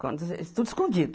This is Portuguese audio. Quando você. Tudo escondido.